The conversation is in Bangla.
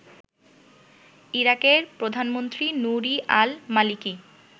ইরাকের প্রধানমন্ত্রী নূরি আল মালিকি